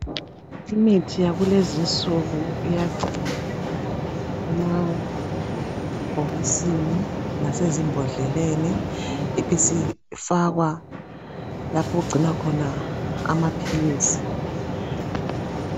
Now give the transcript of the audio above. Imithi yakulezi insuku iyagcinwa emabhokisini lasezimbodleleni ibisifakwa lapho okugcinwa khona amaphilisi.